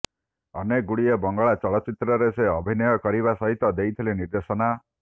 ଅନେକ ଗୁଡିଏ ବଙ୍ଗଳା ଚଳଚ୍ଚିତ୍ରରେ ସେ ଅଭିନୟ କରିବା ସହିତ ଦେଇଥିଲେ ନିର୍ଦ୍ଦେଶନା